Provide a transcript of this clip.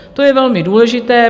To je velmi důležité.